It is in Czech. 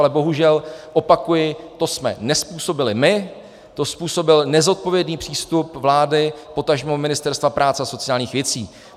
Ale bohužel, opakuji, to jsme nezpůsobili my, to způsobil nezodpovědný přístup vlády, potažmo Ministerstva práce a sociálních věcí.